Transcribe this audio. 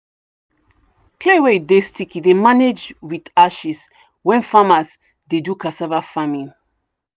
clay wey dey sticky dey managed with ashes when farmers dey do cassava farming.